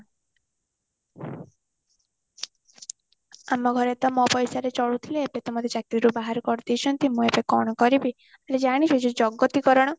ଆମ ଘରେ ତ ମୋ ପଇସାରେ ଚାଲୁଥିଲେ ଏବେ ତ ମତେ ଚାକିରି ରୁ ବାହାର କରି ଦେଇଛନ୍ତି ମୁଁ ଏବେ କଣ କରିବି ହେଲେ ଜାଣିଛୁ ଯୋଉ ଜଗତୀକରଣ